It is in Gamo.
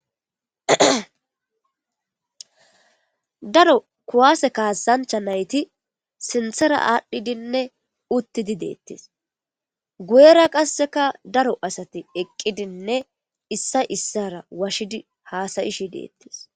Daro kuwaase kaassancha nayti sinthera aadhdhidinne uttidi deettis guyera qasseka daro asati eqqidinne issa issara washidi haasayishi deettis.